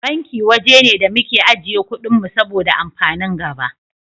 Banki waje ne da muke ajiye kuɗin mu saboda amfanin gaba.